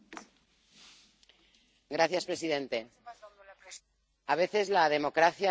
Señor presidente, a veces la democracia tiene estas cosas.